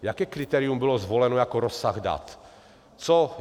Jaké kritérium bylo zvoleno jako rozsah dat?